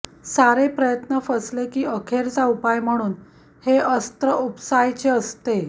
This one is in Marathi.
सारे प्रयत्न फसले की अखेरचा उपाय म्हणून हे अस्त्र उपसायचे असते